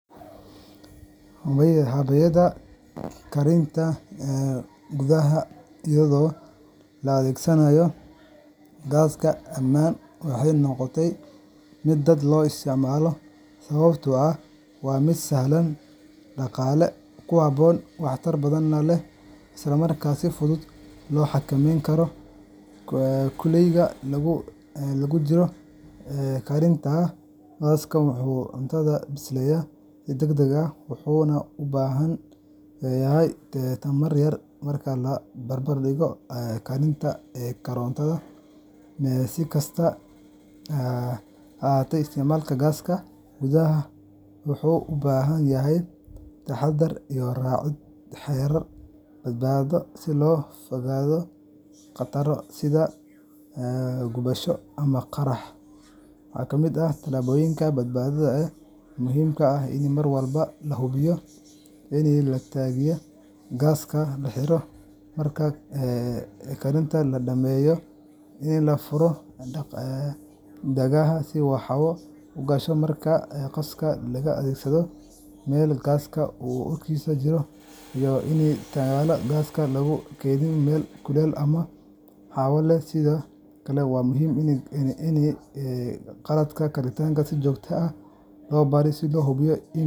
Habaynta karinta gudaha iyadoo la adeegsanayo gaaska Amman waxay noqotay mid aad loo isticmaalo sababtoo ah waa mid sahlan, dhaqaalaha ku habboon, waxtar badan leh, isla markaana si fudud loo xakameyn karo kulaylka inta lagu jiro karinta. Gaasku wuxuu cuntada bisleeyaa si degdeg ah, wuxuuna u baahan yahay tamar yar marka loo barbardhigo karinta korontada. Si kastaba ha ahaatee, isticmaalka gaaska gudaha wuxuu u baahan yahay taxaddar iyo raacid xeerar badbaado si looga fogaado khataro sida gubasho ama qarax. Waxaa ka mid ah tillaabooyinka badbaado ee muhiimka ah in mar walba la hubiyo in taangiga gaaska la xiro marka karinta la dhammeeyo, in la furo daaqadaha si hawo u gasho marka gaaska la adeegsanaayo, in la iska ilaaliyo in wax dab ah lagu shido meel gaas urkiisu jiro, iyo in taangiga gaaska aan lagu kaydin meel kulul ama meel aan hawo lahayn. Sidoo kale waa muhiim in qalabka karinta si joogto ah loo baaro si loo hubiyo in aanu .